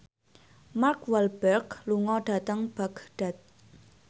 Mark Walberg lunga dhateng Baghdad